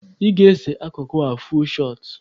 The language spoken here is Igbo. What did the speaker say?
Ị ga-ese akụkụ a, fuul shọt!